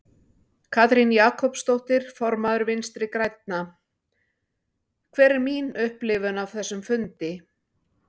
Katrín Jakobsdóttir, formaður Vinstri grænna: Hver er mín upplifun af þessum fundi?